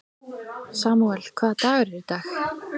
Samúel, hvaða dagur er í dag?